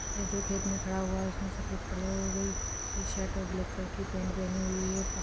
यह जो खेत में खड़ा हुआ है उसने सफेद क लर -लर-की शर्ट और ब्लैक कलर की पैंट पहनी हुई है।